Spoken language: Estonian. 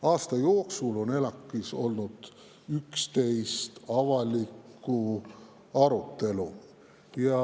Aasta jooksul on ELAK‑is olnud 11 avalikku arutelu.